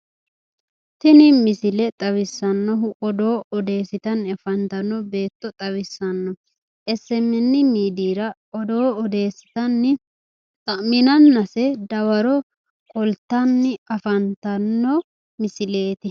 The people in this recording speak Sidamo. tini misile xawissannohu odoo odeessitanni afantanno beetto xawissanno SMN midiira odoo odeessitsnni xamminanase dawaro qoltanni afantanno misileeti.